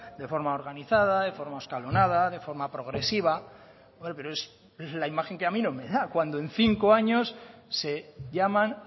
de forma organizada de forma escalonada de forma progresiva pero es la imagen que a mí no me da cuando en cinco años se llaman